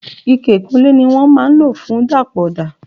Ike ìkunlé ni wọ́n máa ń lo fun dapọ ọda.